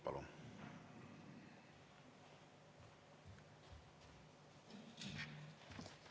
Palun!